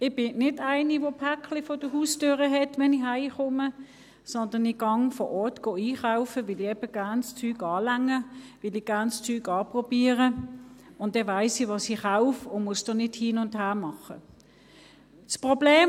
Ich bin nicht jemand der «Päckli» vor der Haustüre hat, wenn ich nach Hause komme, sondern ich gehe vor Ort einkaufen, weil ich eben gerne die Dinge berühre, weil ich gerne die Dinge anprobiere und dann weiss, was ich kaufe und nicht hin und her machen muss.